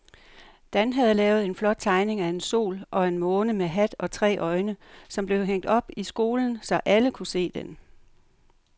Dan havde lavet en flot tegning af en sol og en måne med hat og tre øjne, som blev hængt op i skolen, så alle kunne se den.